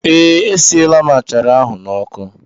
Ee, esiela m achara ahụ n'ọkụ.